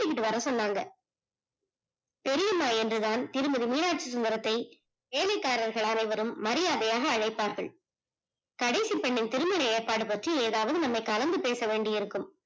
கூட்டிக்கிட்டு வர சொன்னாங்க, பெரிய அம்மா என்று தான் திருமதி மீனாச்சிசுந்தரத்தை வேலைக்காரர்கள் அனைவரும் மரியாதையாக அழைப்பார்கள். கடைசி பெண்ணின் திருமண ஏற்பாடு பற்றி ஏதாவது நம்மை கலந்து பேசவேண்டி இருக்கும்